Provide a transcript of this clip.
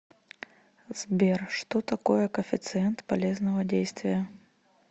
сбер что такое коэффициент полезного действия